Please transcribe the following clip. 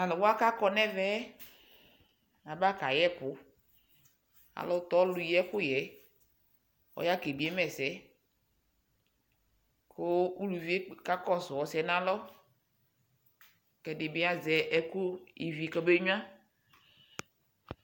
Talʊwa kakɔɲɛvɛ aba kayɛkʊ alʊtɔ lʊyi kʊyɛ ɔya kebiema ɛsɛ kʊ ʊlʊvie kakɔsʊ ɔsɩyɛ ɲalɔ ɛdɩbɩ azɛ ɛƙʊ ivɩ ƙɔbeŋʊa